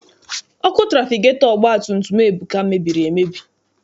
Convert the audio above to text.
Ọkụ trafigetọ ọgbatumtum Ebuka mebiri emebi.